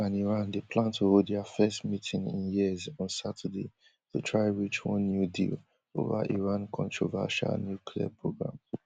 us and iran dey plan to hold dia first meeting in years on saturday to try reach one new deal ova iran controversial nuclear programme